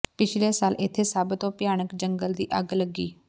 ਪਿਛਲੇ ਸਾਲ ਇਥੇ ਸਭ ਤੋਂ ਭਿਆਨਕ ਜੰਗਲ ਦੀ ਅੱਗ ਲੱਗੀ